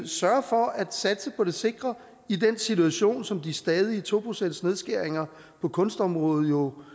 sørger for at satse på det sikre i den situation som de stadige to procentsnedskæringer på kunstområdet jo